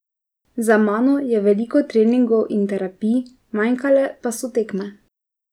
Za mano je veliko treningov in terapij, manjkale pa so tekme.